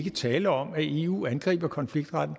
er tale om at eu angriber konfliktretten